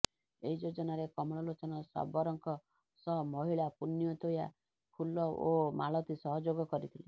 ଏହି ଯୋଜନାରେ କମଳ ଲୋଚନ ଶବରଙ୍କ ସହ ମହିଳା ପୁଣ୍ୟତୋୟା ଫୁଲ ଓ ମାଳତୀ ସହଯୋଗ କରିଥିଲେ